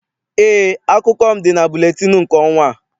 Eé, akụkọ m dị na buletịịnụ nke ọnwa a.